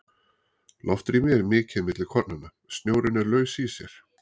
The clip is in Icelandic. Loftrými er mikið milli kornanna, snjórinn er laus í sér.